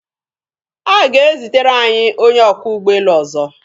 A ga-ezitere anyị onye ọkwọ ụgbọelu ọzọ.